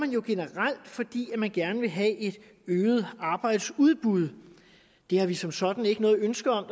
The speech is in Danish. jo generelt fordi man gerne vil have et øget arbejdsudbud det har vi som sådan ikke noget ønske om